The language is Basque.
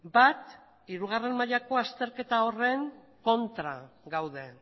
bat hirugarren mailako azterketa horren kontra gaude